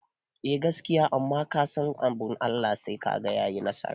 Eh gaskiya kuma amma fa kasan abun Allah sai kaga yayi nasara